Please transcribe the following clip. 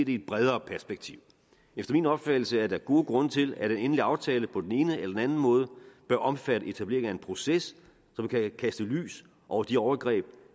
i et bredere perspektiv efter min opfattelse er der gode grunde til at en endelig aftale på den ene eller den anden måde bør omfatte etablering af en proces som kan kaste lys over de overgreb